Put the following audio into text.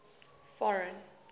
foreign